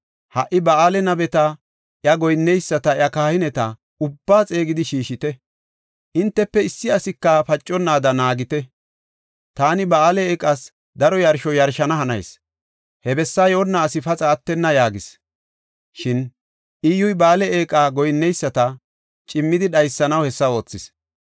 Ha77i Ba7aale nabeta, iya goyinneyisata, iya kahineta ubbaa xeegidi shiishite. Entafe issi asika paconnaada naagite. Taani Ba7aale eeqas daro yarsho yarshana hanayis. He bessaa yoonna asi paxa attenna” yaagis. Shin Iyyuy Ba7aale eeqa goyinneyisata cimmidi dhaysanaw hessa oothis.